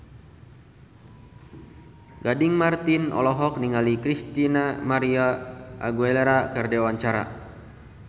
Gading Marten olohok ningali Christina María Aguilera keur diwawancara